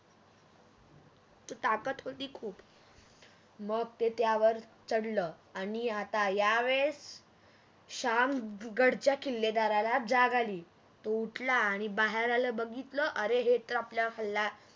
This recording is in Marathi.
त्यात ताकत होती खूप मग तो त्यावर चढल आणि आता या वेळेस शाम गडच्या किल्लेदारला जाग आली तो उठला आणि बाहेर आला बघितल अरे हे तर आपल्या हल्ला